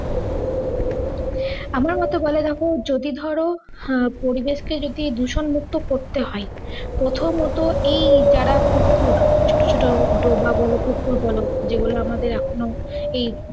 আমার মতে বলে দেখ, যদি ধরো আহ পরিবেশকে যদি দূষণ মুক্ত করতে হয় প্রথমত এই যারা পুকুর, ছোট ছোট ডোবা বলো, পুকুর বল যেগুলো আমাদের এখন ও এই